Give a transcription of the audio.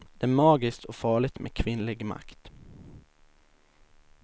Det är magiskt och farligt med kvinnlig makt.